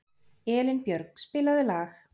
Elínbjörg, spilaðu lag.